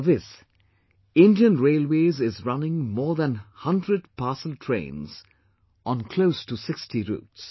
For this, Indian Railways is running more than 100 parcel trains on close to 60 routes